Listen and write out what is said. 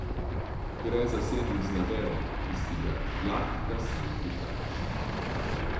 Gre za sendvič z nadevom, ki ga zlahka sam pripraviš.